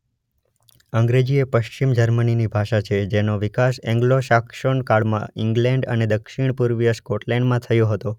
અંગ્રેજી એ પશ્ચિમ જર્મનીની ભાષા છે જેનો વિકાસ એન્ગ્લો સાક્સોન કાળમાં ઇંગ્લેન્ડ અને દક્ષિણ પૂર્વીય સ્કોટલેન્ડમાં થયો હતો.